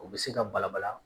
U bɛ se ka balabala